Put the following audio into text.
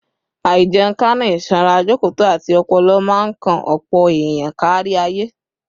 Àìjẹunrekánú, ìsanra jọ̀kọ̀tọ̀, àti ọpọlọ máa ń kan ọ̀pọ̀ èèyàn kárí ayé